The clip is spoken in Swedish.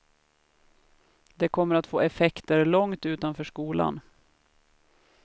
Det kommer att få effekter långt utanför skolan.